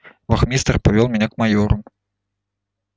вахмистр повёл меня к майору